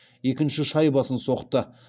екінші шайбасын соқты